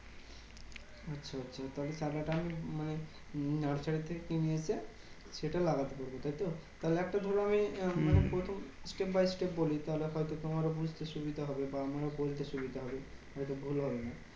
আচ্ছা আচ্ছা তাহলে টাকাটা আমি মানে উম nursery থেকে কিনে নিয়ে এসে সেটা লাগাতে পারবো, তাইতো? তাহলে একটা ধরো আমি মানে প্রথম step by step বলি তাহলে হয়তো তোমারও বুঝতে সুবিধা হবে বা আমারও বলতে সুবিধা হবে। হয়তো ভুল হবে না।